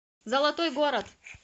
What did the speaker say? золотой город